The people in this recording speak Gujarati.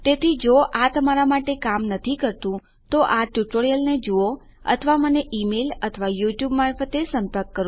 તેથી જો આ તમારાં માટે કામ નથી કરતુ તો આ ટ્યુટોરીયલને જુઓ અથવા મને ઈમેલ કરો અથવા મને મારાં યુટ્યુબ મારફતે સંપર્ક કરો